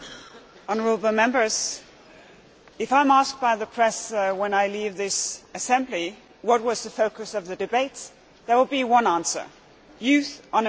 Mr President, if I am asked by the press when I leave this Assembly what was the focus of the debates there will be one answer youth unemployment.